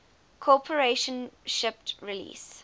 corporation shipped release